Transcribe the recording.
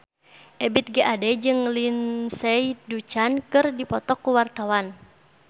Ebith G. Ade jeung Lindsay Ducan keur dipoto ku wartawan